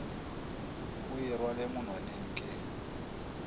o e rwale monwaneng ke